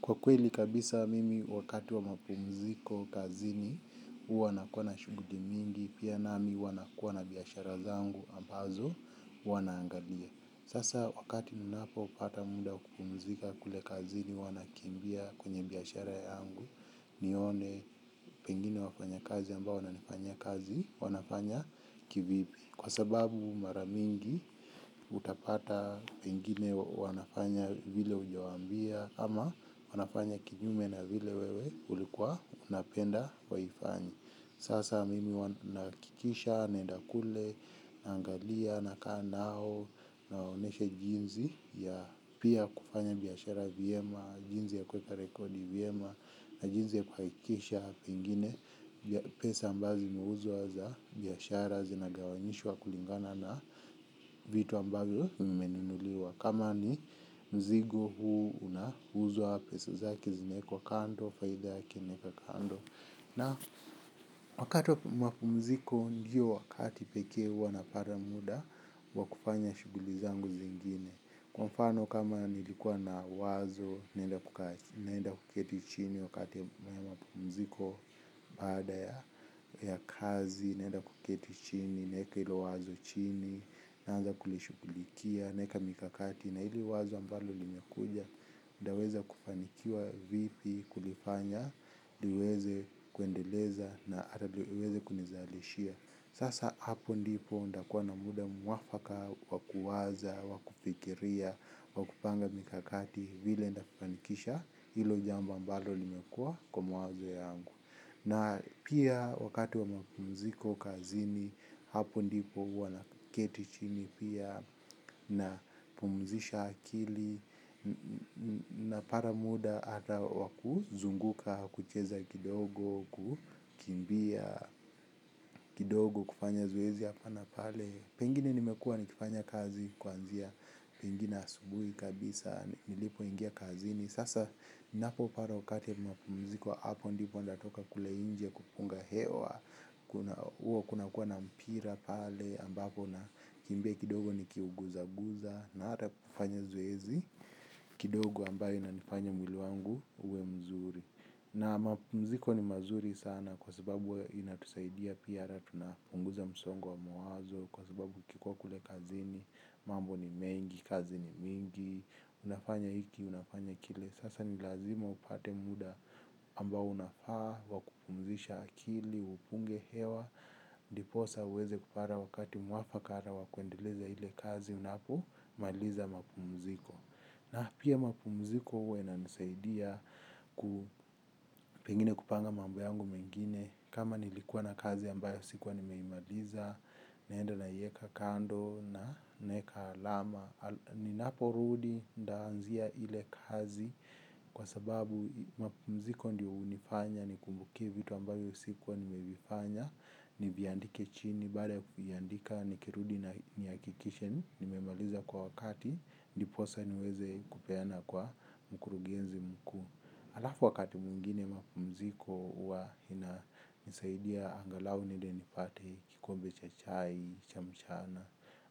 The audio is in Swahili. Kwa kweli kabisa mimi wakati wa mapumziko kazini huwa nakuwa na shughuli mingi pia nami hua nakuwa na biashara zangu ambazo huwa naangalia. Sasa wakati ninapo pata muda wa kupumzika kule kazini huwa nakimbia kwenye biashara yangu nione pengine wafanyikazi ambao wananifanyia kazi wanafanya kivipi. Kwa sababu mara mingi utapata pengine wanafanya vile ujawaambia ama wanafanya kinyume na vile wewe ulikuwa unapenda waifanye. Sasa mimi huwa nahakikisha naenda kule naangalia nakaa nao nawaonyesha jinsi ya pia kufanya bishara vyema jinsi ya kueka rekodi vyema na jinsi ya kuhakikisha pengine pesa ambazo zimeuzwa za biashara zinagawanyishwa kulingana na vitu ambavyo vimenunuliwa. Kama ni mzigo huu unauzwa pesa, zake zinaekwa kando, faida yake inaekwa kando. Na wakati wa mapumziko ndiyo wakati pekee ua napata muda wakufanya shughuli zangu zingine. Kwa mfano kama nilikuwa na wazo, naenda kuketi chini wakati wa mapumziko baada ya kazi naenda kuketi chini naeka hilo wazo chini naanza kulishughulikia naeka mikakati na hili wazo ambalo limekuja nitaweza kufanikiwa vipi kulifanya niweze kuendeleza na ata ndio iweze kunizalishia sasa hapo ndipo nitakua na muda mwafaka wakuwaza wakufiria wakupanga mikakati vile nitafanikisha hilo jambo ambalo limekua kwa mawazo yangu. Na pia wakati wa mapumziko kazini hapo ndipo ua naketi chini pia na pumzisha akili na pata muda ata wa kuzunguka kucheza kidogo kukimbia kidogo kufanya zoezi hapa na pale. Pengine nimekua nikifanya kazi kuanzia, pengine asubui kabisa, nilipo ingia kazi ni sasa napo pata wakati ya mapumziko hapo ndipo nitatoka kukula nje kupunga hewa, kwa hio kuna kuwa na mpira pale ambapo na kimbia kidogo nikiuguza guza na ata kufanya zoezi kidogo ambayo inanifanya mwili wangu uwe mzuri. Na mapumziko ni mazuri sana kwa sababu inatusaidia pia ata tunapunguza msongo wa mawazo kwa sababu ukikuwa kule kazini, mambo ni mengi, kazi ni mingi, unafanya hiki, unafanya kile, sasa ni lazima upate muda ambao unafaa wa kupumzisha akili upunge hewa ndiposa uweze kupata wakati mwafaka hata wa kuendeleza ile kazi, unapo maliza mapumziko. Na pia mapumziko huwa inanisaidia ku pengine kupanga mambo yangu mengine kama nilikua na kazi ambayo sikuwa nimeimaliza, naenda naieka kando na naeka alama. Na ninaporudi nitaanzia ile kazi kwa sababu mapumziko ndio hunifanya nikumbukie vitu ambavyo sikuwa nimevifanya. Niviandike chini baada ya kuviandika nikirudi nihakikishe nimemaliza kwa wakati ndiposa niweze kupeana kwa mkurugenzi mkuu alafu wakati mwingine ma pumziko huwa inanisaidia angalau niende nipate kikombe cha chai cha mchana